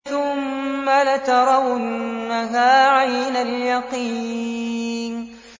ثُمَّ لَتَرَوُنَّهَا عَيْنَ الْيَقِينِ